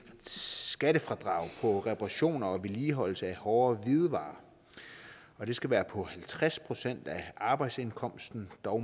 skattefradrag på reparationer og vedligeholdelse af hårde hvidevarer og det skal være på halvtreds procent af arbejdsindkomsten dog